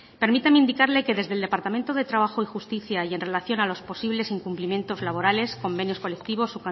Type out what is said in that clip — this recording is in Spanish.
permíteme indicarle que desde el departamento de trabajo y justicia y en relación a los posibles incumplimientos laborales convenios colectivos